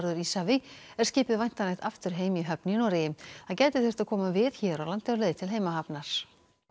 Íshafi er skipið væntanlegt aftur heim í höfn í Noregi það gæti þurft að koma við hér á landi á leið til heimahafnar